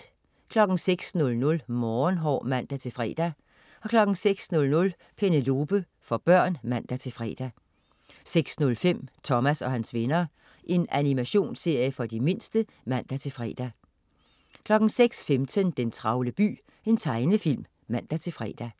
06.00 Morgenhår (man-fre) 06.00 Penelope. For børn (man-fre) 06.05 Thomas og hans venner. Animationsserie for de mindste (man-fre) 06.15 Den travle by. Tegnefilm (man-fre)